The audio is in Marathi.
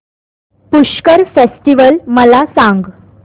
पुष्कर फेस्टिवल मला सांग